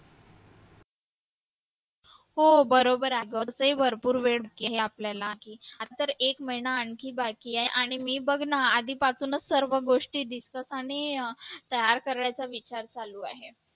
हो बरोबर आहे घरचा ही भरपूर वेळ आपल्याला आता तर एक महिना आणखी बाकी आहे आणि मी बघणार आधीपासूनच सर्व गोष्टी आणि तयार करायच्या विचार चालू आहे